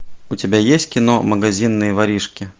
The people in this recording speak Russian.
у тебя есть кино магазинные воришки